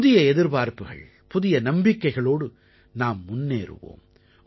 புதிய எதிர்பார்ப்புகள் புதிய நம்பிக்கைகளோடு நாம் முன்னேறுவோம்